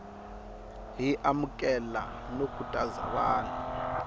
hi amukela no khutaza vanhu